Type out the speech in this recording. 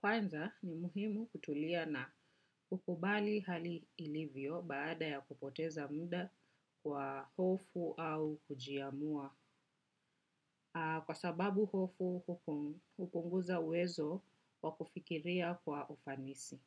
kwanza ni muhimu kutulia na kukubali hali ilivyo baada ya kupoteza mda kwa hofu au kujiamua. Kwa sababu hofu huko hupunguza uwezo wakufikiria kwa ufanisi.